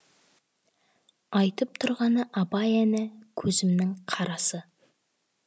айтып тұрғаны абай әні көзімнің қарасы